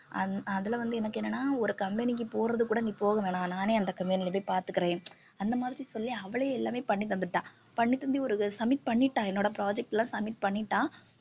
அ~ அதில வந்து எனக்கு என்னன்னா ஒரு company க்கு போறதுக்கு கூட நீ போக வேணாம் நானே அந்த company ல போய் பார்த்துக்கிறேன் அந்த மாதிரி சொல்லி அவளே எல்லாமே பண்ணி தந்துட்டா பண்ணித்தந்து ஒரு submit பண்ணிட்டா என்னோட project ல submit பண்ணிட்டா